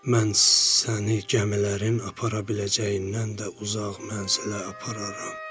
Mən səni gəmilərin apara biləcəyindən də uzaq mənzilə apararam.